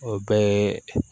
O bɛɛ ye